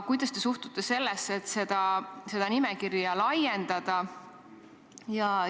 Kuidas te suhtute sellesse, et seda nimekirja laiendada?